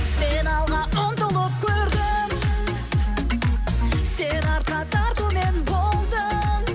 мен алға ұмтылып көрдім сен артқа тартумен болдың